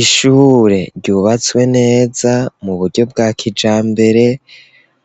Ishure ryubatswe neza mu buryo bwa kijambere,